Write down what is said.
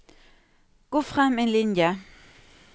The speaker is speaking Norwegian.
Gå frem én linje